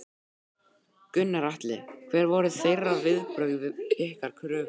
Gunnar Atli: Hver voru þeirra viðbrögð við ykkar kröfum?